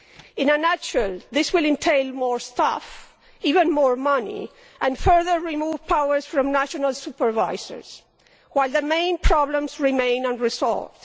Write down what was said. In a nutshell, this will entail more staff and even more money and will further remove powers from national supervisors, while the main problems remain unresolved.